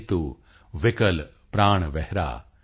ਕਿੰਤੂ ਵਿਕਲ ਪ੍ਰਾਣ ਵਿਹਗ